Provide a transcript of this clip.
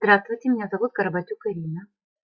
здравствуйте меня зовут карабатюк ирина